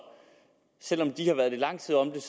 selv om de har været lidt lang tid om det